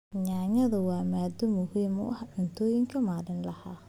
Yaanyadu waa maaddo muhiim ah cuntooyinka maalinlaha ah.